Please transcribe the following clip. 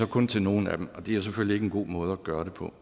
kun til nogle af dem det er jo selvfølgelig ikke en god måde at gøre det på